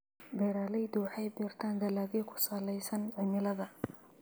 Beeraleydu waxay beeraan dalagyo ku salaysan cimilada.